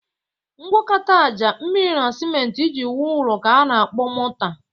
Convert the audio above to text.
Ngwọkọta aja, mmiri, na simentị iji wu ụlọ ka a na-akpọ mọta.